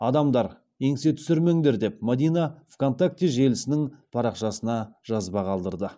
адамдар еңсе түсірмеңдер деп мадина в контакте желісінің парақшасына жазба қалдырды